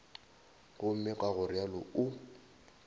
gomme ka go realo o